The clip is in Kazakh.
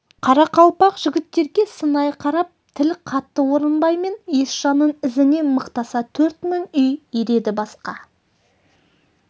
қарақалпақ жігіттерге сынай қарап тіл қатты орынбай мен есжанның ізіне мықтаса төрт мың үй ереді басқа